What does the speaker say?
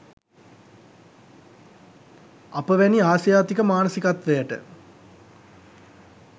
අප වැනි ආසියාතික මානසිකත්වයට